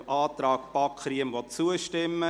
Abstimmung (Antrag BaK [Riem, Iffwil])